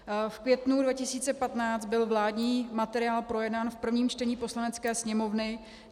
V květnu 2015 byl vládní materiál projednán v prvním čtení Poslanecké sněmovny.